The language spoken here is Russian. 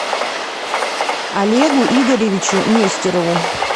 олегу игоревичу нестерову